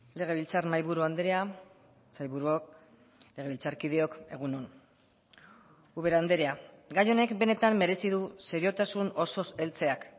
legebiltzar mahaiburu andrea sailburuok legebiltzarkideok egun on ubera andrea gai honek benetan merezi du seriotasun osoz heltzeak